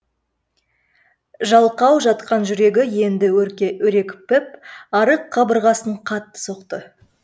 жалқау жатқан жүрегі енді өрекпіп арық қабырғасын қатты соқты